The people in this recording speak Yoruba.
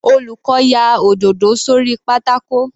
Olùkọ́ ya òdòdó sórí pátákó.